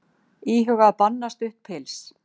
Íhuga að banna stutt pils